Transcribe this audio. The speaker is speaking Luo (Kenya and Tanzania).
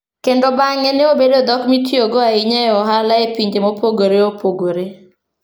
Kendo bang'e ne obedo dhok mitiyogo ahinya e ohala e pinje mopogore opogore.